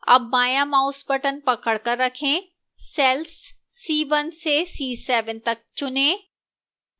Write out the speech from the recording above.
अब बायां mouse button पकड़कर रखें cells c1 से c7 तक चुनें